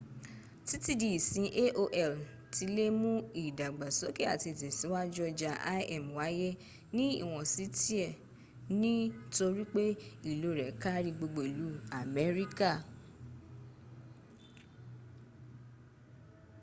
títí di ìsín aol tilè mú ìdàgbàsókè àti ìtẹ̀síwájú ọjà im wáyé ní iwọnsí tiẹ̀ ní torípé ilò rẹ̀ kári gbogbo ìlú amerika